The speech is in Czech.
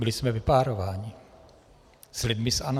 Byli jsme vypárováni s lidmi z ANO.